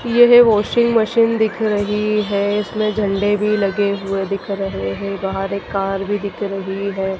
यह washing machine दिख रही है इसमें झंडे भी लगे हुए दिख रहे हैं। बाहर एक कार भी दिख रही है।